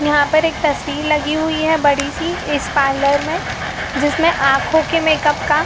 यहां पर एक तस्वीर लगी हुई है बड़ी सी इस पार्लर में जिसमें आंखों के मेक अप का--